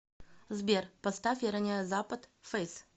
сбер поставь я роняю запад фэйс